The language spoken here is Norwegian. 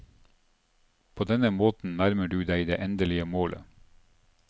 På denne måten nærmer du deg det endelige målet.